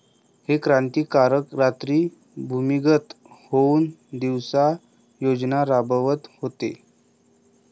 हे क्रांतिकारक रात्री भूमिगत होऊन दिवसा योजना राबवत होते